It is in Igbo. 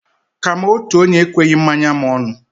Ka m' otu onye ekweghi mmanya m ọnụ.